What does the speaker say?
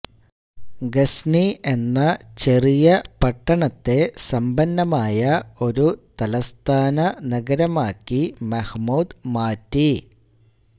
ഗസ്നി എന്ന ചെറിയ പട്ടണത്തെ സമ്പന്നമായ ഒരു തലസ്ഥാനനഗരമാക്കി മഹ്മൂദ് മാറ്റി